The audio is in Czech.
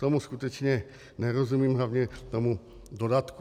Tomu skutečně nerozumím, hlavně tomu dodatku.